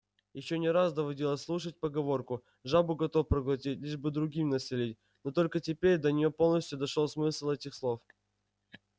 ей не раз доводилось слышать поговорку жабу готов проглотить лишь бы другим насолить но только теперь до нее полностью дошёл смысл этих слов